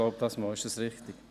Ist dies richtig?